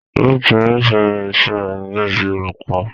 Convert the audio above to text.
Ruth nífẹ̀ẹ́ iṣẹ́ rẹ̀ gẹ́gẹ́ bíi olùkọ́.